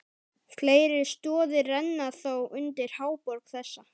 Fleiri stoðir renna þó undir háborg þessa.